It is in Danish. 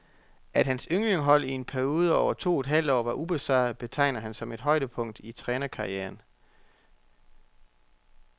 At hans ynglingehold i en periode over to og et halvt år var ubesejret, betegner han som et højdepunkt i trænerkarrieren.